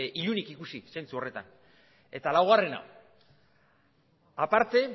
ilunik ikusi zentsu horretan eta laugarrena aparte